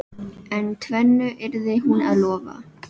En tvennu yrði hún að lofa.